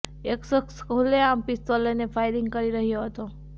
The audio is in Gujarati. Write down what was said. એક શખ્સ ખુલ્લેઆમ પિસ્તોલ લઈને ફાયરિંગ કરી રહ્યો હતો